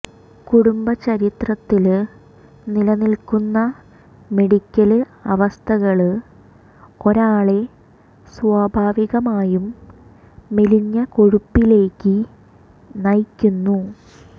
കുടുംബചരിത്രത്തില് നിലനില്ക്കുന്ന മെഡിക്കല് അവസ്ഥകള് ഒരാളെ സ്വാഭാവികമായും മെലിഞ്ഞ കൊഴുപ്പിലേക്ക് നയിക്കുന്നു